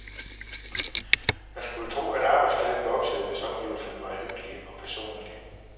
Man skulle tro, at arbejdsglæden voksede, hvis omgivelserne var hyggelige og personlige.